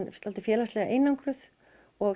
félagslega einangruð og